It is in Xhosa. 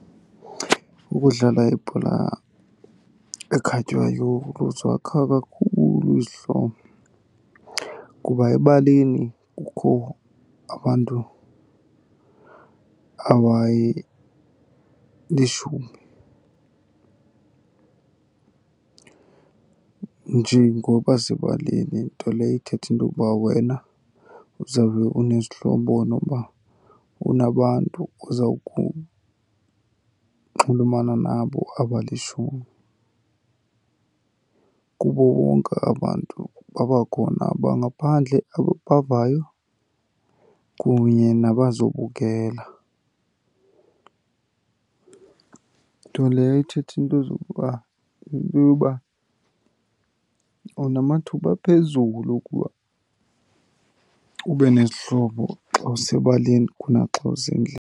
Ukudlala ibhola ekhatywayo kuzakha kakhulu izihlobo kuba ebaleni kukho abantu abayilishumi, nje ngoba sebaleni. Nto leyo ithetha into yokuba wena uzawube unezihlobo nokuba unabantu oza kunxulumana nabo abalishumi. Kubo bonke aba bantu babakhona abangaphandle abapavayo kunye nabazobukela. Nto leyo ethetha into zokuba, into yoba unamathuba aphezulu okuba ube nezihlobo xa usebaleni kunaxa usendlini.